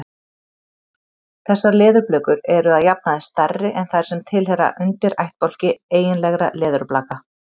Þessar leðurblökur eru að jafnaði stærri en þær sem tilheyra undirættbálki eiginlegra leðurblaka.